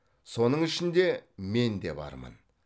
соның ішінде мен де бармын